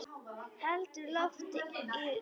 Heldur lof í lófa.